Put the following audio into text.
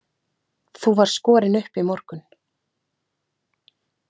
Þú varst skorinn upp í morgun.